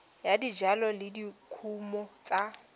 ya dijalo le dikumo tsa